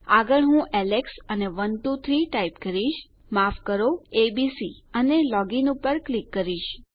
આગળ હું એલેક્સ અને 123 ટાઈપ કરીશ માફ કરજો એબીસી અને લોગ ઇન પર ક્લિક કરીશ